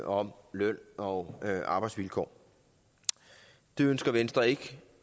om løn og arbejdsvilkår det ønsker venstre ikke